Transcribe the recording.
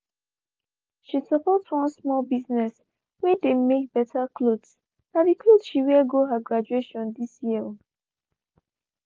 she support one small business whey dey make better clothesna the clothes she wear go her graduation this year.